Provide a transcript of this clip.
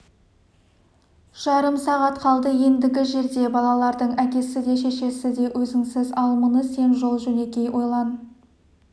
жарым сағат қалды ендігі жерде балалардың әкесі де шешесі де өзіңсің ал мұны сен жол-жөнекей ойлан